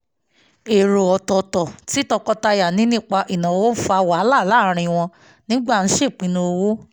èrò ọ̀tọ̀ọ̀tọ̀ tí tọkọtaya ní nípa ìnáwó fa wàhálà láàárín wọn nígbà ṣèpinnu owó